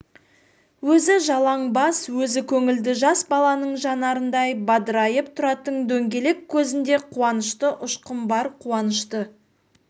өзі жалаң бас өзі көңілді жас баланың жанарындай бадырайып тұратын дөңгелек көзінде қуанышты ұшқын бар қуанышты